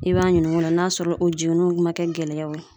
I b'a ɲininka o la, n'a sɔrɔ o jenini ma kɛ gɛlɛyaw ye.